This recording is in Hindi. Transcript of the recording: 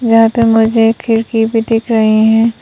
यहां पे मुझे खिड़की भी दिख रही है।